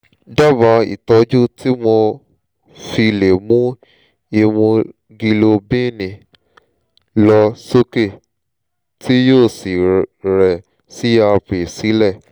dábàá ìtọ́jú tí mo fi lè mu ìmúgilóbíìnì lọ sókè tí yóò sì rẹ crp sílẹ̀